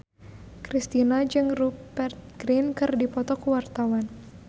Kristina jeung Rupert Grin keur dipoto ku wartawan